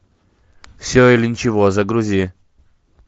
все или ничего загрузи